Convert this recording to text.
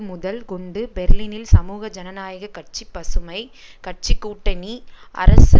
முதல் கொண்டு பெர்லினில் சமூக ஜனநாயக கட்சிபசுமை கட்சி கூட்டணி அரசு